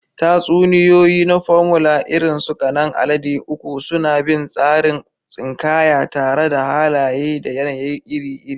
Tatsuniyoyi na Formula, irin su Ƙanan Alade Uku, suna bin tsarin tsinkaya tare da halaye da yanayi iri-iri.